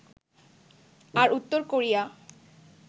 আর উত্তর কোরিয়া